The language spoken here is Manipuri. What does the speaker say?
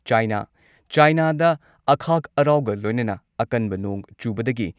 ꯆꯥꯏꯅꯥ ꯆꯥꯏꯅꯥꯗ ꯑꯈꯥꯛ ꯑꯔꯥꯎꯒ ꯂꯣꯏꯅꯅ ꯑꯀꯟꯕ ꯅꯣꯡ ꯆꯨꯕꯗꯒꯤ